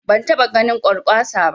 Ban taɓa ganin Kwarkwasa ba